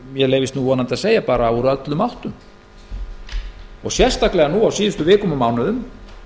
mér leyfist nú vonandi að segja öllum áttum á síðustu vikum og mánuðum